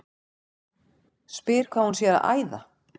Spyr hvað hún sé að æða.